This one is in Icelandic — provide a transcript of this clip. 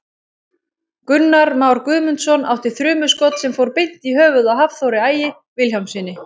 Gunnar Már Guðmundsson átti þrumuskot sem fór beint í höfuðið á Hafþóri Ægi Vilhjálmssyni.